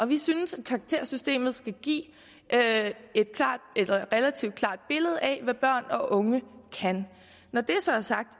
vi synes at karaktersystemet skal give et relativt klart billede af hvad børn og unge kan når det så er sagt